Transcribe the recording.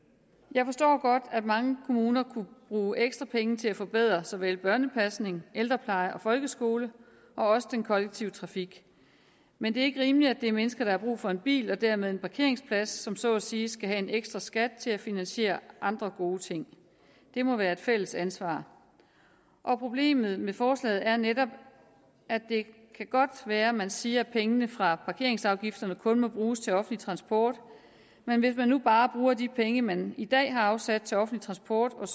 jeg forstår godt at mange kommuner kunne bruge ekstra penge til at forbedre såvel børnepasning ældrepleje som folkeskolen og også den kollektive trafik men det er ikke rimeligt at det er mennesker der har brug for en bil og dermed en parkeringsplads som så at sige skal betale en ekstra skat til at finansiere andre gode ting det må være et fælles ansvar problemet med forslaget er netop at det kan godt være man siger at pengene fra parkeringsafgifterne kun må bruges til offentlig transport men hvis man nu bare bruger de penge man i dag har afsat til offentlig transport og